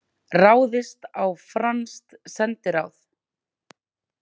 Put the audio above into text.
Ráðist á franskt sendiráð